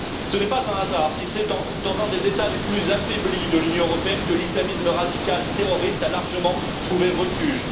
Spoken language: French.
Ce n'est pas un hasard si c'est dans un des États les plus affaiblis de l'Union européenne que l'islamisme radical terroriste a largement trouvé refuge.